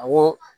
Awɔ